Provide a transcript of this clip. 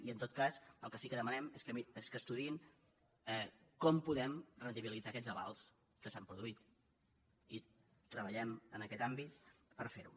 i en tot cas el que sí que demanem és que estudiïn com podem rendibilitzar aquests avals que s’han produït i treballem en aquest àmbit per fer ho